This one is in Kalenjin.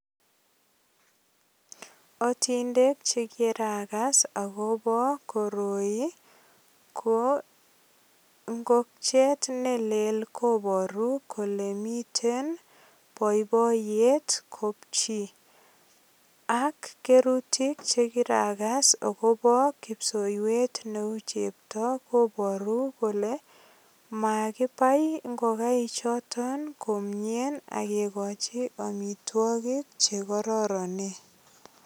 Atindek che kiragas agobo koroi koroi ko ingokchet ne leel kobaru kole miten boiboiyet kopchi. Ak kerutik che kiragas agobo kipsoiywet neu chepto kobaru kole makibai ingokaik choton komie ak kekochi amitwogik che kororonen.